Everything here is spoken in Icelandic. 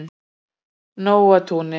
Nóatúni